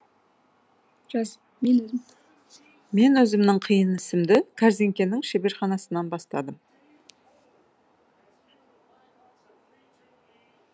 жаз мен өзім мен өзімнің қиын ісімді кәрзеңкенің шеберханасынан бастадым